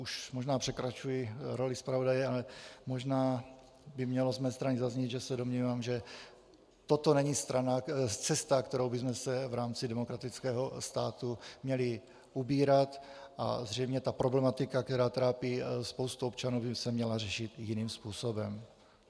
Už možná překračuji roli zpravodaje, ale možná by mělo z mé strany zaznít, že se domnívám, že toto není cesta, kterou bychom se v rámci demokratického státu měli ubírat, a zřejmě ta problematika, která trápí spoustu občanů, by se měla řešit jiným způsobem.